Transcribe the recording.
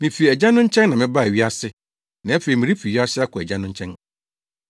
Mifi Agya no nkyɛn na mebaa wiase; na afei merefi wiase akɔ Agya no nkyɛn.”